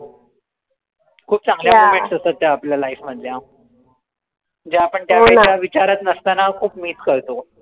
खूप चांगल्या असतात त्या आपल्या life मधल्या ज्या आपण विचारात नसतांना खूप miss करतो